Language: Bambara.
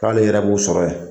K'ale yɛrɛ b'u sɔrɔ yen.